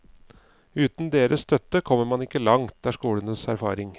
Uten deres støtte kommer man ikke langt, er skolens erfaring.